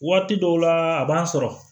Waati dɔw la a b'an sɔrɔ